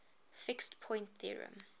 fixed point theorem